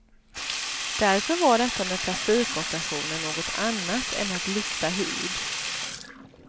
Därför var detta med plastikoperationer något annat än att lyfta hud.